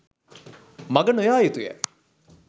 මඟ නො යා යුතු ය.